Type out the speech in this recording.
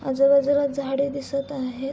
आजू बाजूला झाडे दिसत आहेत.